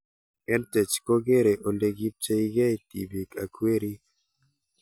EdTech kokerei ole kipcheikei tipik ak werik